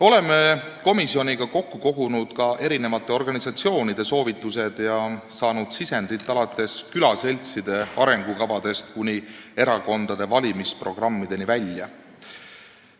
Oleme komisjoniga kokku kogunud ka mitmete organisatsioonide soovitused ja saanud sisendit, alates külaseltside arengukavadest kuni erakondade valimisprogrammideni välja.